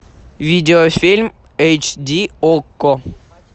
видеофильм эйч ди окко